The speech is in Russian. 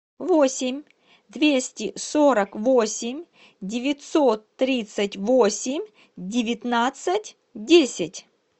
восемь двести сорок восемь девятьсот тридцать восемь девятнадцать десять